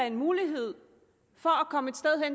en mulighed for